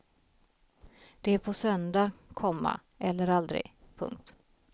Det är på söndag, komma eller aldrig. punkt